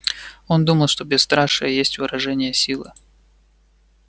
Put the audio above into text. он думал что бесстрашие есть выражение силы